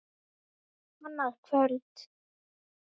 Annað kvöld!